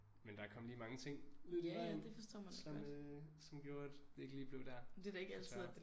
Men der kom lige mange ting lidt i vejen som øh som gjorde at det ikke lige blev der desværre